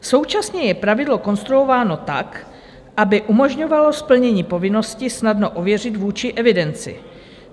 Současně je pravidlo konstruováno tak, aby umožňovalo splnění povinnosti snadno ověřit vůči evidenci.